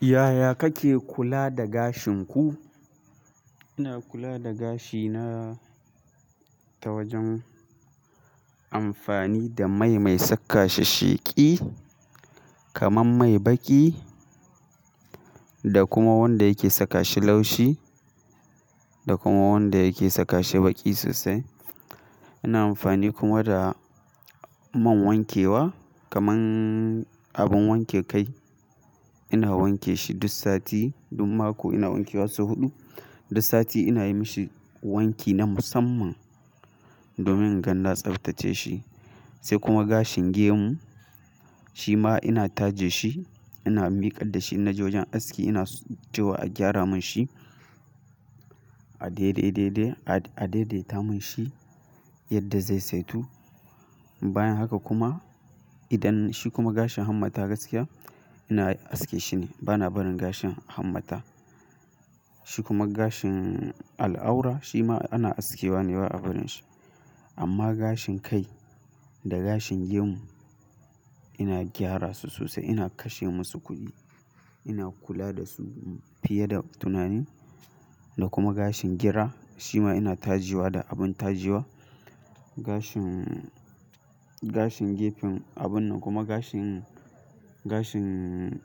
Yaya kake kula da gashin ku? Ina kula da gashina ta wajen amfani da mai mai sakashi sheki kamar mai baki da kuma wanda yake sakashi laushi da kuma wanda yake sakashi baki sosai. Ina amfani kuma da man wankewa kaman abun wanke kai. Ina wanke shi duk sati, duk mako ina wanke wa so huɗu. Duk sati ina yi mishi wanki na musamman domin inga na tsaftace shi. Sai kuma gashin gemu shima ina taje shi, ina miƙa dashi ina ji wajen aski, ina cewa a gyara mun shi, a daidaita mun shi yadda zai saitun. Bayan haka kuma idan shi kuma gashin hammata gaskiya ina aske shi ne bana barin gashin hammata. Shi kuma gashin al'aura shi ma ana aske wa ne ba a barin shi. Amma gashin kai da gashin gemu ina gyara su sosai, ina kashe musu kuɗi, ina kula da su fiye da tunani. Da kuma gashin gira shi ma ina tajiwa da abun tajiwa. Gashin, gashin gefen abun nan kuma gashin, gashin,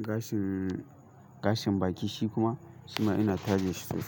gashin, gashin baki shi kuma shi ma ina taje shi sosai.